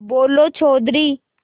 बोलो चौधरी